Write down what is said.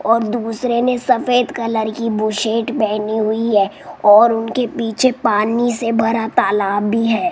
और दूसरे ने सफेद कलर की बुसेट पहनी हुई है और उनके पीछे पानी से भरा तालाब भी है।